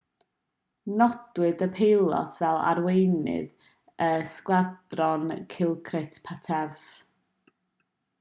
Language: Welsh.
nodwyd y peilot fel arweinydd y sgwadron dilokrit pattavee